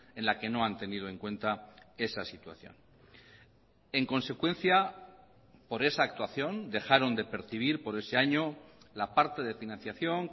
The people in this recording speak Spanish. en la que no han tenido en cuenta esa situación en consecuencia por esa actuación dejaron de percibir por ese año la parte de financiación